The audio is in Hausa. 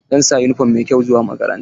Zai sa yunifom mai kyau zuwa makaranta.